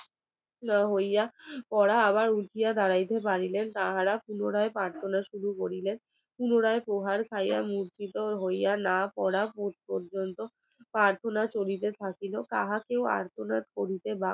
ওহারা আবার ঢুকিয়া দাড়াইতে পারিলেন তাহারা পুনরায় প্রার্থনা শুরু করিলেন পুনরায় প্রহার খাইয়া মরছিতো হইয়া না পোড়া পর্যন্ত প্রার্থনা চলিতে থাকিল তাহাকেও আর্তনাদ করিতে